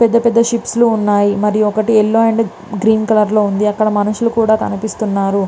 పెద్ద పెద్ద షిప్ లు వున్నాయ్ మరియు ఒకటి yellow colour and green colour లో కనిపిస్తునై అక్కడ మనుషుల్లు కూడా ఉనారు.